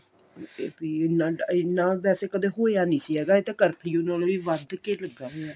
ਵੀ ਇੰਨਾ ਇੰਨਾ ਵੈਸੇ ਕਦੇ ਹੋਇਆ ਨਹੀਂ ਸੀ ਹੈਗਾ ਇਹ ਤਾਂ ਕਰਫਿਊ ਨਾਲੋਂ ਵੀ ਵੱਧ ਕੇ ਲੱਗਾ ਹੋਇਆ